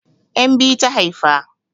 'Yan biyu ta haifa.